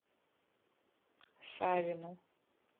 савину